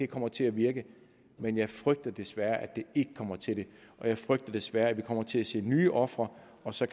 kommer til at virke men jeg frygter desværre at det ikke kommer til det jeg frygter desværre at vi kommer til at se nye ofre og så